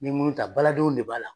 Me minnu ta baladenw de b'a la